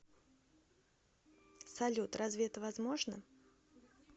салют разве это возможно